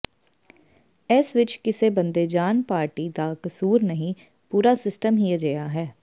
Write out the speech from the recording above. ਇਸ ਵਿੱਚ ਕਿਸੇ ਬੰਦੇ ਜਾਨ ਪਾਰਟੀ ਦਾ ਕਸੂਰ ਨਹੀਂ ਪੂਰਾ ਸਿਸਟਮ ਹੀ ਅਜਿਹਾ ਹੈ